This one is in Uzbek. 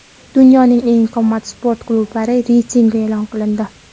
Dunyoning eng qimmat sport klublari reytingi e’lon qilindi.